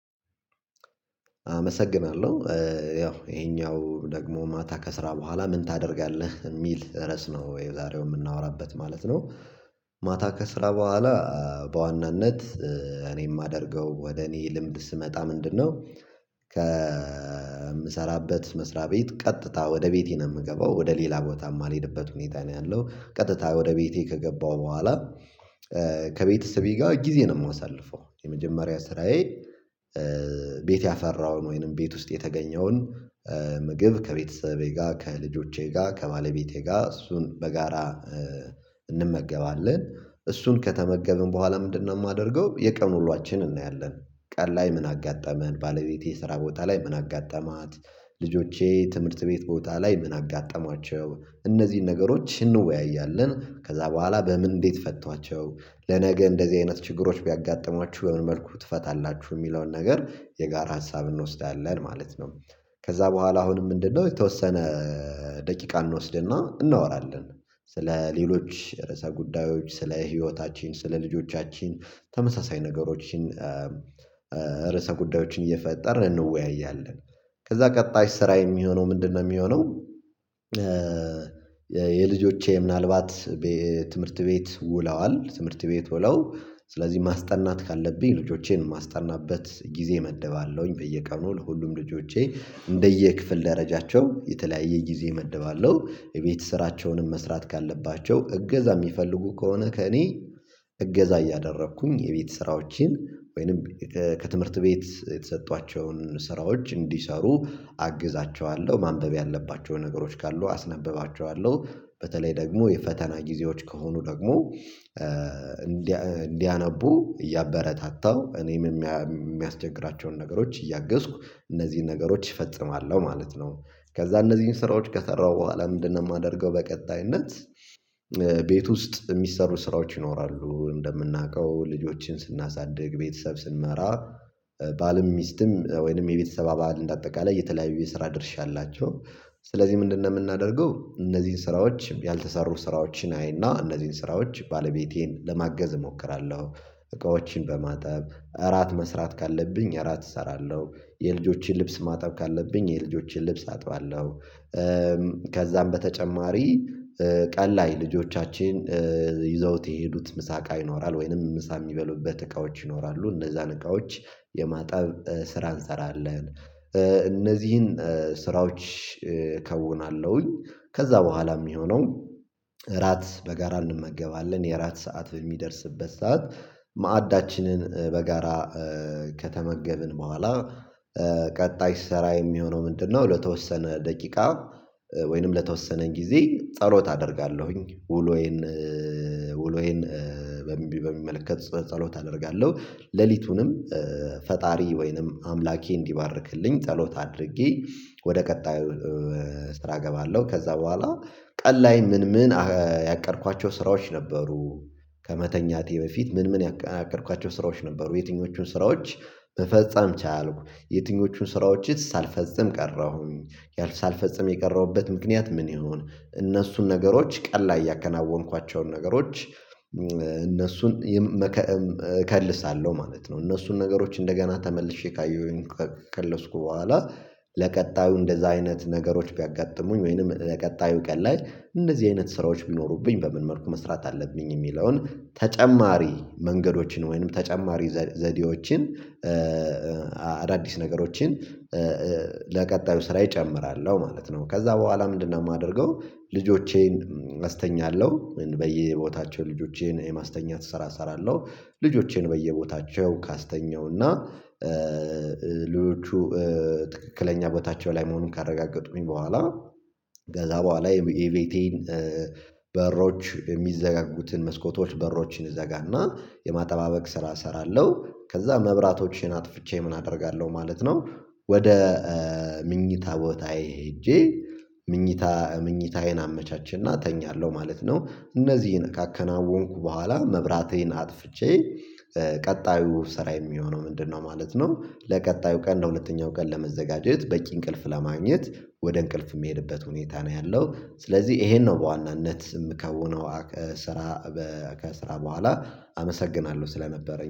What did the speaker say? አመሰግናለሁ ያው ይሄኛው ደግሞ ማታ ከስራ በኋላ ምን ታደርጋለህ የሚል ርዕስ ነው የዛሬው የምናወራበት ማለት ነው? ማታ ከስራ በኋላ። በዋናነት እኔ የማደርገው ወደ እኔ ልምድ ስመጣ ምንድነው? ከምሰራበት መስሪያ ቤት ቀጥታ ወደ ቤቴ ነው የምገባው ወደ ሌላ ቦታ የማልሄድበት ሁኔታ ነው ያለው ቀጥታ ወደ ቤቴ ከገባው በኋላ። ከቤተሰቤ ጋር ጊዜ ነው የማሳልፈው የመጀመሪያ ስራዬ ቤት ያፈራውን ወይንም ቤት ውስጥ የተገኘውን ምግብ ከቤተሰቤ ጋር ከልጆቼ ጋር ከባለቤቴ ጋር እሱን በጋራ እንመገባለን። እሱን ከተመገብን በኋላ ምንድነው የማደርገው የቀኑ ውሎዋችንን እናያለን ቀን ላይ ምን አጋጠመን ባለቤቴ ስራ ቦታ ላይ ምን አጋጠማት ልጆቼ ትምህርት ቤት ቦታ ላይ ምን አጋጠማቸው እነዚህን ነገሮች እንወያያለን ከዛ በኋላ በምን እንዴት ፈቷቸው? ለነገ እንደዚህ አይነት ችግሮች ቢያጋጥሟችሁ በምን መልኩ ትፈታላችሁ የሚለውን ነገር የጋራ ሀሳብ እንወስዳለን ማለት ነው። ከዛ በኋላ አሁንም ምንድነው የተወሰነ ደቂቃ እንወስድና እናወራለን። ስለ ሌሎች ርዕሰ ጉዳዮች ስለ ህይወታችን ስለ ልጆቻችን ተመሳሳይ ነገሮችን ርዕሰ ጉዳዮችን እየፈጠርን እንወያያለን። ከዛ ቀጣይ ስራ የሚሆነው ምንድነው የሚሆነው? የልጆቼ ምናልባት ትምህርት ቤት ውለዋል ትምህርት ቤት ውለው ስለዚህ ማስጠናት ካለብኝ ልጆቼን ማስጠናበት ጊዜ መድባለሁኝ በየቀኑ ለሁሉም ልጆቼ እንደየክፍል ደረጃቸው የተለያየ ጊዜ እመድባለሁ። የቤት ስራቸውንም መስራት ካለባቸው እገዛ የሚፈልጉ ከሆነ ከእኔ እገዛ እያደረኩኝ የቤት ስራዎችን ወይንም ከትምህርት ቤት የተሰጧቸውን ስራዎች እንዲሰሩ አግዛቸዋለሁ ማንበብ ያለባቸው ነገሮች ካሉ አስነብባቸዋለሁ። በተለይ ደግሞ የፈተና ጊዜዎች ከሆኑ ደግሞ እንዲያነቡ እያበረታታው እኔም የሚያስቸግራቸውን ነገሮች እያገዝኩ እነዚህን ነገሮች እፈጽማለሁ ማለት ነው። ከዛ እነዚህን ስራዎች ከሰራሁ በኋላ ምንድነው የማደርገው በቀጣይነት? ቤት ውስጥ የሚሰሩ ስራዎች ይኖራሉ እንደምናውቀው ልጆችን ስናሳድግ ቤተሰብ ስንመራ ባልም ሚስትም ወይንም የቤተሰብ አባል እንደአጠቃላይ የተለያዩ የስራ ድርሻ አላቸው። ስለዚህ ምንድነው የምናደርገው እነዚህን ስራዎች ያልተሰሩ ስራዎችን አይና እነዚህን ስራዎች ባለቤቴን ለማገዝ እሞክራለሁ። እቃዎችን በማጠብ እራት መስራት ካለብኝ እራት እሰራለሁ የልጆችን ልብስ ማጠብ ካለብኝ የልጆችን ልብስ አጥባለሁ። ከዛም በተጨማሪ ቀን ላይ ልጆቻችን ይዘውት የሄዱት ምሳ ቃ ይኖራል ወይንም ምሳ የሚበሉበት እቃዎች ይኖራሉ እነዛን እቃዎች የማጠብ ስራ እንሰራለን። እነዚህን ስራዎች እከውናለሁኝ ከዛ በኋላ የሚሆነው እራት በጋራ እንመገባለን የእራት ሰዓት በሚደርስበት ሰዓት ማዕዳችንን በጋራ ከተመገብን በኋላ ቀጣይ ስራ የሚሆነው ምንድነው ለተወሰነ ደቂቃ ለተወሰነን ጊዜ ጸሎት አደርጋለሁኝ ውሎዬን ውሎዬን በሚመለከት ጸሎት አደርጋለሁ። ሌሊቱንም ፈጣሪ ወይንም አምላኬ እንዲባርክልኝ ጸሎት አድርጌ ወደ ቀጣዩ ስራ እገባለሁ። ከዛ በኋላ ቀን ላይ ምን ምን ያቀድኳቸው ስራዎች ነበሩ ከመተኛቴ በፊት ምን ምን ያቀድኳቸው ስራዎች ነበሩ የትኞቹን ስራዎች መፈጸም ቻልኩ? የትኞቹን ስራዎችስ ሳልፈጽም ቀረሁኝ? ሳልፈጽም የቀረሁበት ምክንያት ምን ይሁን? እነሱን ነገሮች ቀን ላይ ያከናወንኳቸውን ነገሮች እነሱን እከልሳለሁ ማለት ነው። እነሱን ነገሮች እንደገና ተመልሼ ካየሁኝ ከከለስኩ በኋላ ለቀጣዩ እንደዛ አይነት ነገሮች ቢያጋጥሙኝ ወይንም ለቀጣዩ ቀን ላይ እንደዚህ አይነት ስራዎች ቢኖሩብኝ በምን መልኩ መስራት አለብኝ የሚለውን ተጨማሪ መንገዶችን ወይንም ተጨማሪ ዘዴዎችን አዳዲስ ነገሮችን ለቀጣዩ ስራዬ ጨምራለሁ ማለት ነው። ከዛ በኋላ ምንድነው የማደርገው? ልጆቼን አስተኛለሁ በየቦታቸው ልጆቼን የማስተኛት ስራ እሰራለሁ። ልጆቼን በየቦታቸው ካስተኛውና ሌጆቹ ትክክለኛ በታች ላይ መሆኑን ካረጋገጡኝ በኋላ ከዛ በኋላ የቤቴን በሮች የሚዘጋጉትን መስኮቶች በሮችን እዘጋና የማጠባበቅ ስራ እሰራለሁ። ከዛ መብራቶችን አጥፍቼ ምን አደርጋለሁ ማለት ነው። ወደ ምኝታ ቦታዬ ሄጄ ምኝታ ምኝታዬን አመቻችና እተኛለሁ ማለት ነው። እነዚህን ካከናወንኩ በኋላ መብራቴን አጥፍቼ ቀጣዩ ስራ የሚሆነው ምንድነው ማለት ነው? ለቀጣዩ ቀን ለሁለተኛው ቀን ለመዘጋጀት በቂ እንቅልፍ ለማግኘት ወደ እንቅልፍ የምሄድበት ሁኔታ ነው ያለው። ስለዚህ ይሄን ነው በዋናነት የምከውነው ከስራ ከስራ በኋላ አመሰግናለሁ። ስለነበረኝ